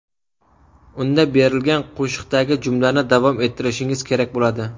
Unda berilgan qo‘shiqdagi jumlani davom ettirishingiz kerak bo‘ladi.